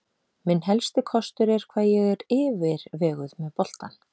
Minn helsti kostur er hvað ég er yfirveguð með boltann.